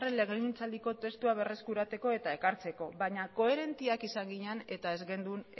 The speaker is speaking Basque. legegintzaldiko testua berreskuratzeko eta ekartzeko baina koherenteak izan ginen eta ez genuen